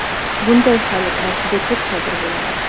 Bunday holatlar juda ko‘p sodir bo‘ladi.